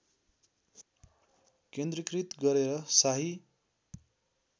केन्द्रीकृत गरेर शाही